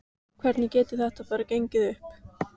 Hvernig getur þetta bara gengið upp?